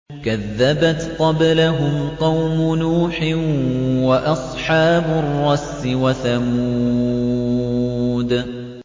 كَذَّبَتْ قَبْلَهُمْ قَوْمُ نُوحٍ وَأَصْحَابُ الرَّسِّ وَثَمُودُ